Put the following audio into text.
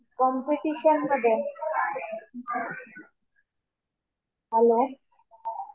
Competition मध्ये hello.